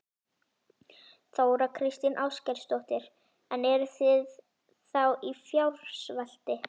Þóra Kristín Ásgeirsdóttir: En eruð þið þá í fjársvelti?